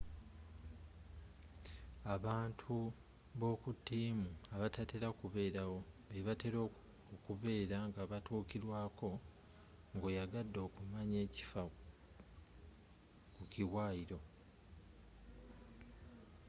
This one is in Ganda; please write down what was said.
abantu b'okutiimu abatatela kuberawo bebatela okubera ng'abatukilwako ng'oyagadde okumanaya ekiffa ku kiwayilo